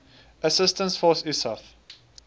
assistance force isaf